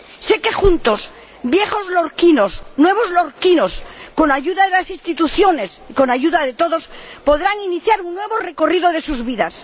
Sé que juntos viejos lorquinos, nuevos lorquinos con ayuda de las instituciones y con ayuda de todos, podrán iniciar un nuevo recorrido en sus vidas.